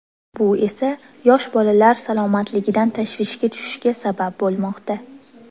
Bu esa yosh bolalar salomatligidan tashvishga tushishga sabab bo‘lmoqda.